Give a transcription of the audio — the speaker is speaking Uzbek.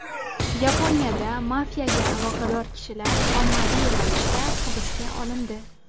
Yaponiyada mafiyaga aloqador kishilar ommaviy ravishda hibsga olindi.